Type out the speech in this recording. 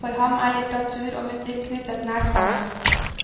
For ham er litteratur og musikk knyttet nært sammen.